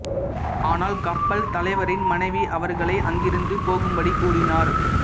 ஆனால் கப்பல் தலைவரின் மனைவி அவர்களை அங்கிருந்து போகும்படி கூறினார்